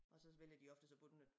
Og så vælger de oftest at bunde den